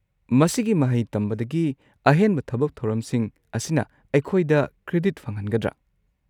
ꯃꯁꯤꯒꯤ ꯃꯍꯩ ꯇꯝꯕꯗꯒꯤ ꯑꯍꯦꯟꯕ ꯊꯕꯛ-ꯊꯧꯔꯝꯁꯤꯡ ꯑꯁꯤꯅ ꯑꯩꯈꯣꯏꯗ ꯀ꯭ꯔꯦꯗꯤꯠ ꯐꯪꯍꯟꯒꯗ꯭ꯔꯥ?